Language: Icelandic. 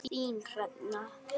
Þín, Hrefna.